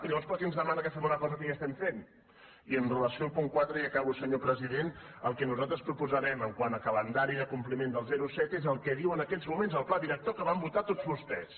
i llavors per què ens demana una cosa que ja estem fent i amb relació al punt quatre i acabo senyor president el que nosaltres proposarem quant a calendari de compliment del zero coma set és el que diu en aquests moments el pla director que van votar tots vostès